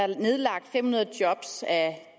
der nedlagt fem hundrede job af